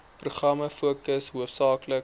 programme fokus hoofsaaklik